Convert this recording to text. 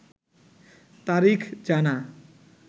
তারিখ জানা